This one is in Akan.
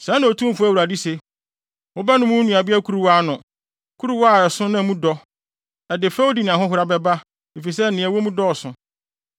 “Sɛɛ na Otumfo Awurade se: “Wobɛnom wo nuabea kuruwa ano, kuruwa a ɛso na mu dɔ; ɛde fɛwdi ne ahohora bɛba, efisɛ nea ɛwɔ mu dɔɔso.